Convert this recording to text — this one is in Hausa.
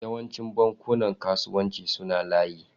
Yawancin bankunan kasuwanci suna layi.